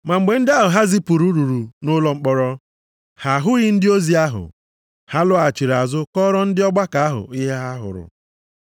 Ma mgbe ndị ahụ ha zipụrụ ruru nʼụlọ mkpọrọ, ha ahụghị ndị ozi ahụ. Ha lọghachiri azụ kọọrọ ndị ọgbakọ ahụ ihe ha hụrụ,